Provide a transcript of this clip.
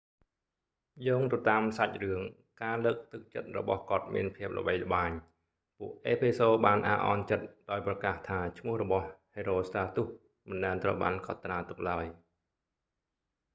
យោងទៅតាមសាច់រឿង ការលើកទឹកចិត្តរបស់គាត់មានភាពល្បីល្បាញ ពួកអេភេសូរបានអាក់អន់ចិត្តដោយប្រកាសថាឈ្មោះរបស់ herostratus មិនដែលត្រូវបានកត់ត្រាទុកឡើយ